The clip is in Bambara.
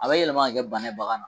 A bɛ yɛlɛma ka kɛ bana ye bagan na.